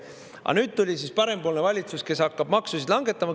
Aga nüüd tuli parempoolne valitsus, kes hakkab maksusid langetama.